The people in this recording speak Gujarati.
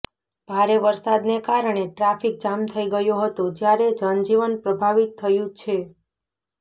ભારે વરસાદને કારણે ટ્રાફિક જામ થઇ ગયો હતો જયારે જનજીવન પ્રભાવિત થયું છે